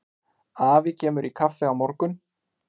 Afi kemur í kaffi á morgun.